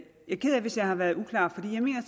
er ked af hvis jeg har været uklar